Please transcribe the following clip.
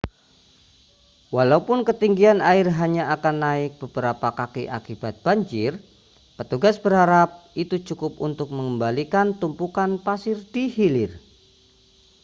walaupun ketinggian air hanya akan naik beberapa kaki akibat banjir petugas berharap itu cukup untuk mengembalikan tumpukan pasir di hilir